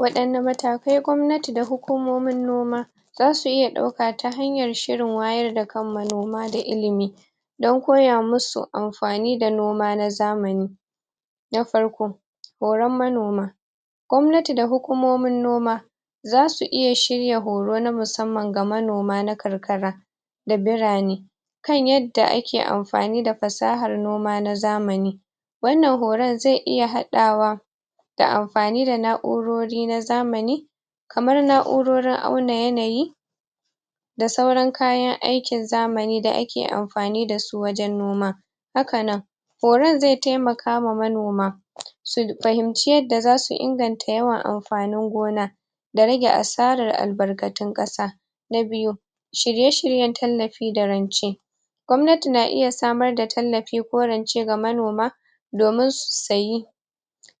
Waɗanne matakan gwamnati da hukumomin noma zasu iya ɗauka ta hanyar shirin wayar da kan manoma da ilimi don koya musu amfani da noma na zamani na farko; horan manoma gwamnati da hukumomin noma zasu iya shirya horo na musamman ga manoma na karkara da birane kan yanda ake amfani da fasahar noma na zamani wannan horon zai iya haɗawa da amfani da na'urori na zamani kamar na'urorin auna yanayi da sauran kayan aikin zamani da ake am.. fani dasu wajen noma haka nan horon zai taimakawa manoma su fahimci yanda zasu inganta da yawan amfanin gona da rage asarar albarkatun ƙasa na biyu; shirye-shiryen tallafi da rance gwamnati na iya samar da tallafi ko rance ga manoma domin su sayi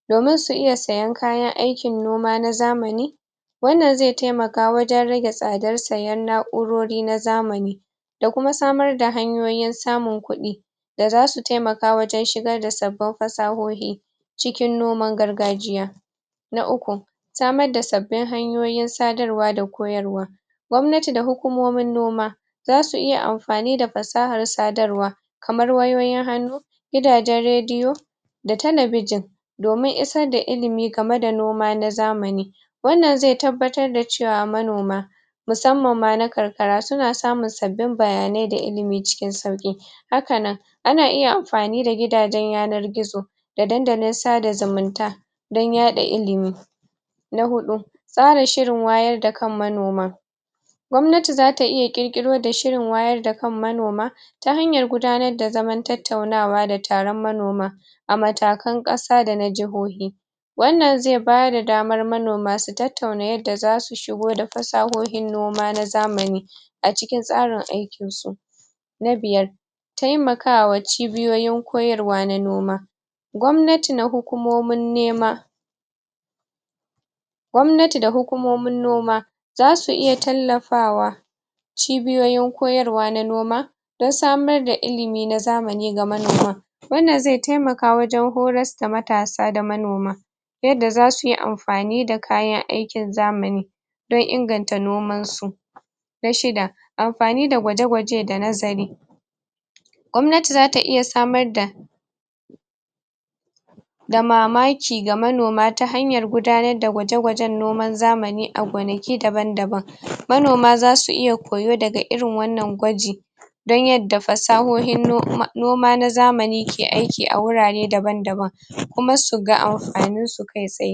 domin su iya sayen kayan aikin noma na zamani wannan zai taimaka wajen rage tsadar sayen na'u urori na zamani da kuma samar da hanyoyin samun kuɗi da zasu taimaka wajen shigar da sabbin fasahohi cikin noman gargajiya na uku; samar da sabbin hanyoyin sadarwa da koyarwa gwamnati da hukumomin noma zasu iya amfani da fasahar sadarwa kamar wayoyin hannu gidajen radiyo talabijin domin isar da ilimi game da noma na zamani wannan zai tabbatar da cewa manoma musamman ma na karkara suna samun sabbin bayanai da ilimi cikin sauƙi haka nan ana iya am fani da gidajen yanar gizo dandalin sada zumunta don yaɗa ilimi na huɗu; tsarin shirin wayar da kan manoma gwamnati zata iya ƙirƙiro da shirin wayar da kan manoma ta hanyar gudanar da zamanta tattaunawa da taron manoma a matakan ƙasa dana jihohi wannan zai bayar da daman manoma su tat tauna yanda zasu shigo da fasahohin noma na zamani acikin tsarin aikin su na biyar; taimakawa cibiyoyin koyarwa na noma gwamnati na hukumomin nema gwamnati da hukumomin noma zasu iya tallafawa cibiyoyin koyarwa na noma dan samar da ilimi na zamani ga manoma wannan zai taimaka wajen horas da matasa da manoma yanda zasu yi amfani da kayan aikin zamani don inganta noman su na shida; amfani da gwaje-gwaje da nazari gwamnati zata iya samar da da mamaki ga manoma ta hanyar gudanar da gwaje-gwajen noman zamani a gonaki daban-daban manoma zasu iya koya daga irin wannan gwaji don yanda fasahohin noma noma na zamani ke aiki a wurare daban-daban kuma su ga amfaninsu kai tsaye